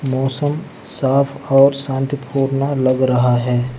मौसम साफ और शांतिपूर्ण लग रहा है।